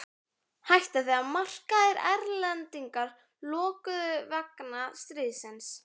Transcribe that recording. Hætti þegar markaðir erlendis lokuðust vegna stríðsins.